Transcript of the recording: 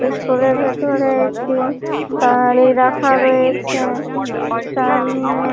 এই স্কুলের ভেতর রয়েছে রাখা রয়েছে তার নাম--